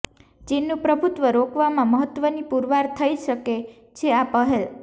ચીનનું પ્રભુત્વ રોકવામાં મહત્વની પુરવાર થઈ શકે છે આ પહેલ